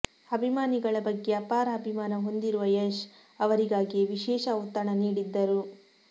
ಅಭಿಮಾನಿಗಳ ಬಗ್ಗೆ ಅಪಾರ ಅಭಿಮಾನ ಹೊಂದಿರುವ ಯಶ್ ಅವರಿಗಾಗಿಯೇ ವಿಶೇಷ ಔತಣ ನೀಡಿದ್ದರು